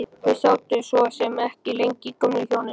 Þau sátu svo sem ekki lengi gömlu hjónin.